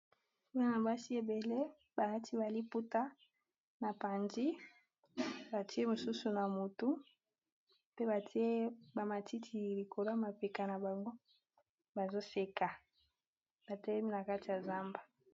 Bana basi ebele balati ba liputa na panzi batie mosusu na motu pe batie ba matiti likolo ya mapeka na bango bazo seka batelemi na kati ya zamba.